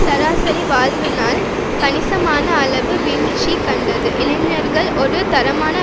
சராசரி வாழ்வு நாள் கணிசமான அளவு வீழ்ச்சி கண்டது இளைஞர்கள் ஒரு தரமான